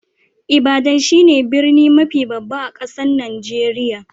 Ibadan shine birni mafi babba a'kasan Nijeriya.